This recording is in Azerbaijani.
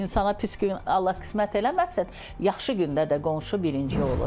İnsana pis gün Allah qismət eləməsin, yaxşı gündə də qonşu birinci olur.